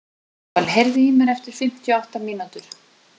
Emmanúel, heyrðu í mér eftir fimmtíu og átta mínútur.